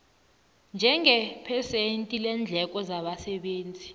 njengephesenti leendleko zabasebenzi